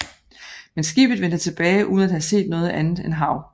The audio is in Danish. Men skibet vendte tilbage uden at have set noget andet end hav